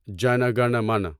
جنہ گنہ منہ